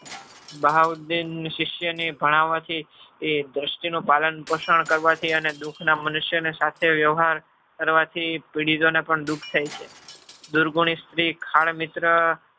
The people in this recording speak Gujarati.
બહાઉદ્દેન શિષ્યને ભણાવવાથી એ દ્રષ્ટિનું પાલન પોષણ કરવાથી અને દુઃખના મનુષ્યને સાથે વયવ્હાર કરવાથી ને પણ દુઃખ થાય છે. દુર્ગુણી સ્ત્રી ખાણમિત્ર